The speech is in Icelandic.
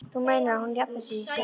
Þú meinar að hún safni í sig.